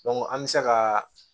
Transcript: an bɛ se ka